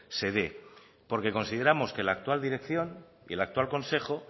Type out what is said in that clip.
se dé porque consideramos que la actual dirección y el actual consejo